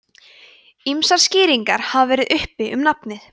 ýmsar skýringar hafa verið uppi um nafnið